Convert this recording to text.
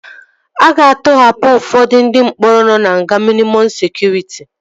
A ga-atọhapụ ụfọdụ ndị mkpọrọ nọ na nga mịnịmọm sekụritị